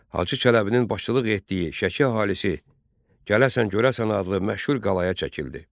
Hacı Çələbinin başçılıq etdiyi Şəki əhalisi Gələsən görəsən adlı məşhur qalaya çəkildi.